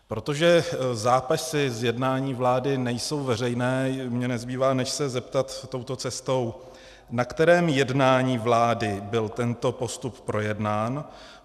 Protože zápisy z jednání vlády nejsou veřejné, mně nezbývá, než se zeptat touto cestou: Na kterém jednání vlády byl tento postup projednán?